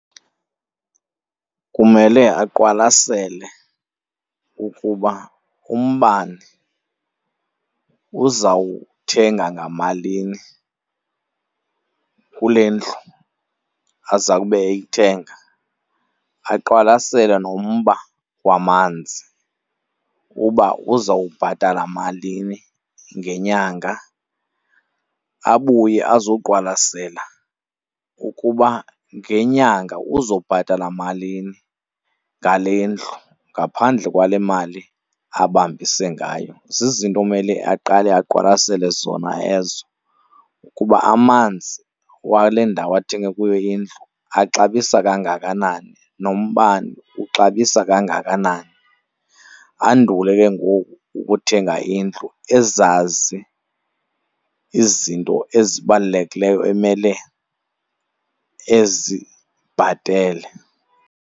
Kumele aqwalasele ukuba umbane uzawuthenga ngamalini kule ndlu aza kube eyithenga, aqwalasele nommba wamanzi uba uzawubhatala malini ngenyanga. Abuye azoqwalasela ukuba ngenyanga uzobhatala malini ngale ndlu ngaphandle kwale mali abambise ngayo. Zizinto umele aqale aqwalasele zona ezo ukuba amanzi wale ndawo athenge kuyo indlu axabisa kangakanani, nombane uxabisa kangakanani. Andule ke ngoku ukuthenga indlu ezazi izinto ezibalulekileyo emele ezibhatele.